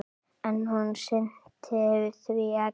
En hún sinnti því ekki.